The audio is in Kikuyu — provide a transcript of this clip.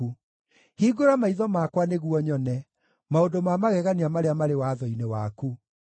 Hingũra maitho makwa nĩguo nyone maũndũ ma magegania marĩa marĩ watho-inĩ waku.